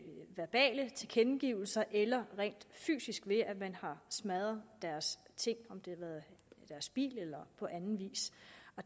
verbale tilkendegivelser eller rent fysisk ved at man har smadret deres ting deres bil eller andet